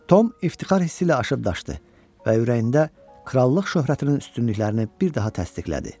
Tom iftixar hissi ilə aşırdaşdı və ürəyində krallıq şöhrətinin üstünlüklərini bir daha təsdiqlədi.